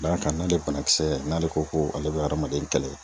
Da ka n'ale bana kisɛ ,n'ale ko ko ale be adamaden kɛlɛ